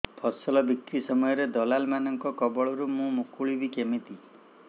ଫସଲ ବିକ୍ରୀ ସମୟରେ ଦଲାଲ୍ ମାନଙ୍କ କବଳରୁ ମୁଁ ମୁକୁଳିଵି କେମିତି